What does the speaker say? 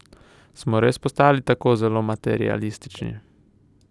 Smo res postali tako zelo materialistični?